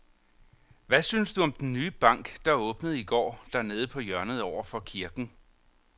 Hvad synes du om den nye bank, der åbnede i går dernede på hjørnet over for kirken?